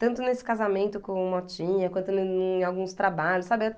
Tanto nesse casamento com o Motinha, quanto em alguns trabalhos, sabe?